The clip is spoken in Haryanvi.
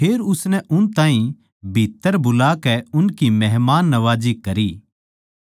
फेर उसनै उन ताहीं भीत्त्तर बुलाकै उनकी मेहमाननवाजी करी दुसरे दिन वो उनकै गेल्या गया अर याफा नगर के बिश्वासी भाईयाँ म्ह तै कुछ उसकै गेल्या हो लिए